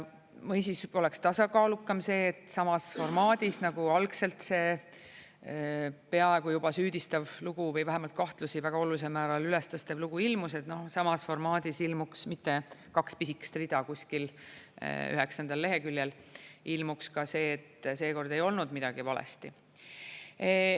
Või siis oleks tasakaalukam see, et samas formaadis nagu algselt see peaaegu juba süüdistav lugu või vähemalt kahtlusi väga olulisel määral üles tõstev lugu ilmus, et noh, samas formaadis ilmuks mitte kaks pisikest rida kuskil üheksandal leheküljel, ilmuks ka see, et seekord ei olnud midagi valesti.